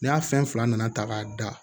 N'a fɛn fila nana ta k'a da